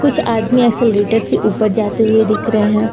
कुछ आदमी एक्सेलरेटर से ऊपर जाते हुए दिख रहे हैं।